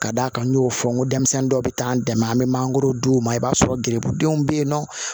Ka d'a kan n y'o fɔ n ko denmisɛnnin dɔw bɛ taa an dɛmɛ an bɛ mangorod'u ma i b'a sɔrɔ gerebudenw bɛ yen nɔ